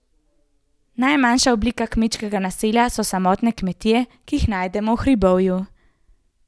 Najmanjša oblika kmečkega naselja so samotne kmetije, ki jih najdemo v hribovju.